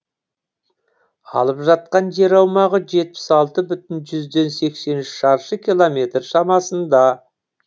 алып жатқан жер аумағы жетпіс алты бүтін жүзден сексен үш шаршы километр шамасында